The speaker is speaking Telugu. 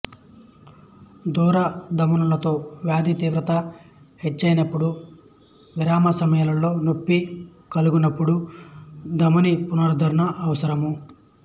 దూర ధమనులలో వ్యాధి తీవ్రత హెచ్చయినప్పుడు విరామ సమయములలో నొప్పి కలుగునపుడు ధమనీ పునరుద్ధరణ అవసరము